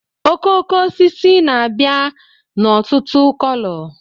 okooko osisi na-abịa n'ọtụtụ kolo